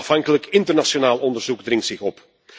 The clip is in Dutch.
Een onafhankelijk internationaal onderzoek dringt zich op.